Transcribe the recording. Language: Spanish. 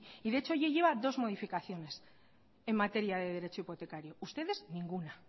y de hecho ya lleva dos modificaciones en materia de derecho hipotecario ustedes ninguna